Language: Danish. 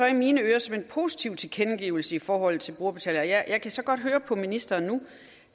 i mine ører som en positiv tilkendegivelse i forhold til brugerbetaling men jeg kan så godt høre på ministeren nu